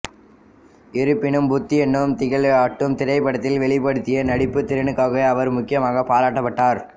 இருப்பினும் பூத் என்னும் திகிலூட்டும் திரைப்படத்தில் வெளிப்படுத்திய நடிப்புத் திறனுக்காகவே அவர் முக்கியமாகப் பாராட்டப்பட்டார்